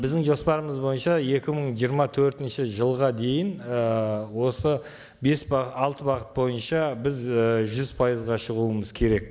біздің жоспарымыз бойынша екі мың жиырма төртінші жылға дейін ііі осы бес алты бағыт бойынша біз і жүз пайызға шығуымыз керек